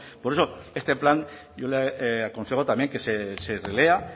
por eso este plan yo le aconsejo también que se relea